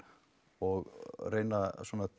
og reyna